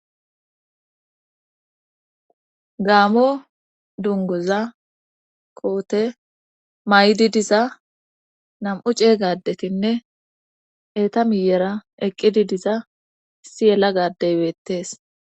gaamo dungoza koote may7di diza nam7u ceeygadetinne eta miyera eqqidi diza issi yelaga Adey beettees